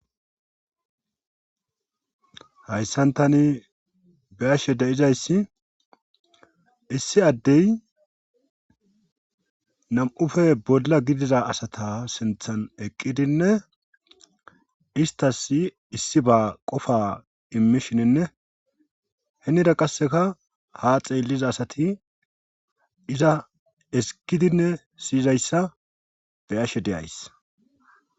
hayssan tani beyashe de7izayssi issi addey nam7ufe bolla gidida asata sinthan eqqidinne istas issi ba qofa immishininne henida qasseka ha xeelliza asati iza esikidinne siyizayssa be ashe deyays